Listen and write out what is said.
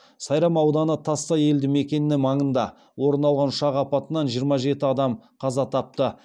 сайрам ауданы тассай елді мекені маңында орын алған ұшақ апатынан жиырма жеті адам қаза тапты